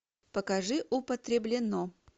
покажи употреблено